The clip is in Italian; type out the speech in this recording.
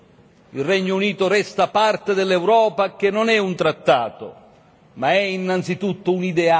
Il Regno Unito resta parte dell'Europa che non è un trattato, ma è innanzitutto un ideale.